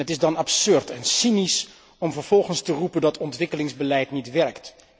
Het is dan absurd en cynisch om vervolgens te roepen dat het ontwikkelingsbeleid niet werkt.